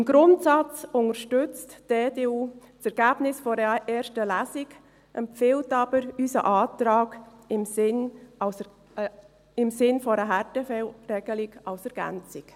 Im Grundsatz unterstützt die EDU das Ergebnis der ersten Lesung, empfiehlt jedoch unseren Antrag im Sinne einer Härtefallregelung als Ergänzung.